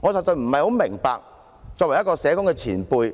我實在不明白作為社工前輩